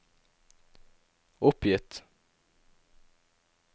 oppgitt